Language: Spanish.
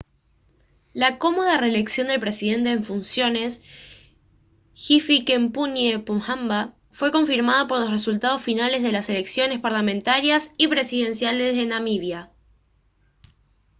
la cómoda reelección del presidente en funciones hifikepunye pohamba fue confirmada por los resultados finales de las elecciones parlamentarias y presidenciales de namibia